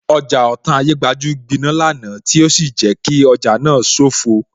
Ọjà Otan Ayégbajú gbiná lánàá tí ó sì jẹ́ kí ọjà náà sofoo